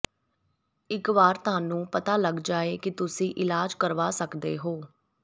ਇੱਕ ਵਾਰ ਤੁਹਾਨੂੰ ਪਤਾ ਲੱਗ ਜਾਏ ਕਿ ਤੁਸੀਂ ਇਲਾਜ ਕਰਵਾ ਸਕਦੇ ਹੋ